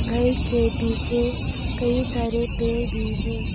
घर के पीछे कई सारे पेड़ भी है।